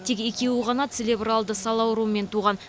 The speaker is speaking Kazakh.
тек екеуі ғана целебралды сал ауруымен туған